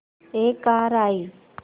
एक कार आई